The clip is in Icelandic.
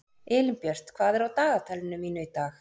Elínbjört, hvað er á dagatalinu mínu í dag?